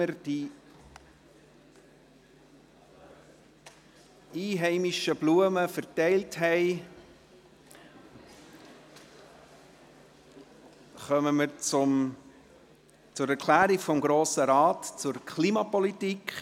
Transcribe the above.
Nachdem wir die einheimischen Blumen verteilt haben kommen wir zur «Erklärung des Grossen Rates zur Klimapolitik».